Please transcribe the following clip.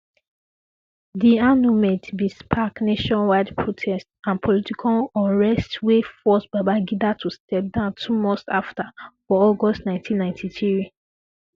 di annulment bin spark nationwide protests um and political unrest wey force babangida to step down two months afta for august 1993